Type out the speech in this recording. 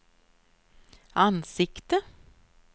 ansikte